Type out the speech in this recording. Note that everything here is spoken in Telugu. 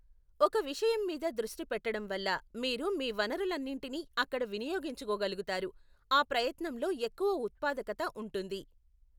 ఒక విషయం మీద దృష్టి పెట్టడం వల్ల మీరు మీ వనరులన్నింటినీ అక్కడ వినియోగించుకోగలుగుతారు, ఆ ప్రయత్నంలో ఎక్కువ ఉత్పాదకత ఉంటుంది.